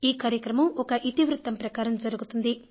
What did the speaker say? ఈ కార్యక్రమం ఒక ఇతివృత్తం ప్రకారం జరుగుతుంది